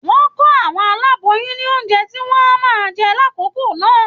Wọn kọ àwọn aláboyún ní oúnjẹ tí wọn o máa jẹ l'akoko náà.